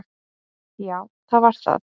Já, það var það.